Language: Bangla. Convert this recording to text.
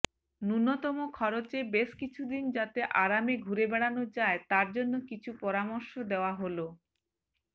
ন্যূনতম খরচে বেশ কিছুদিন যাতে আরামে ঘুরে বেড়ানো যায় তার জন্য কিছু পরামর্শ দেওয়া হল